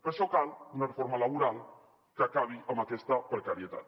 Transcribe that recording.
per això cal una reforma laboral que acabi amb aquesta precarietat